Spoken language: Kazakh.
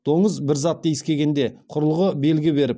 доңыз бір затты иіскегенде құрылғы белгі беріп